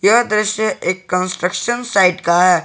यह दृश्य एक कंस्ट्रक्शन साइट का है।